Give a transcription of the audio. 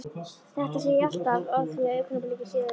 Þetta sé ég alltaf á því að augnabliki síðar er